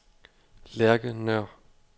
Lærke Nøhr